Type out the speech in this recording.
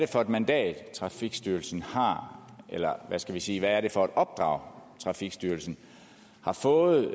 for et mandat trafikstyrelsen har eller hvad skal vi sige hvad det er for et opdrag trafikstyrelsen har fået